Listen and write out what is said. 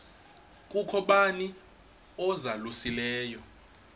kukho bani uzalusileyo